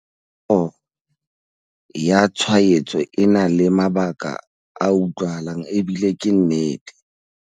Tshabo ya tshwaetso e na le mabaka a utlwahalang ebile ke nnete.